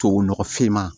Tubabu nɔgɔ finman